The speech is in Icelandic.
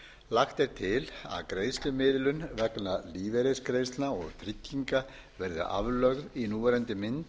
lagt er til að greiðslumiðlun vegna lífeyrisgreiðslna og trygginga verði aflögð í núverandi mynd